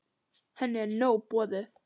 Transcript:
Henni er nóg boðið.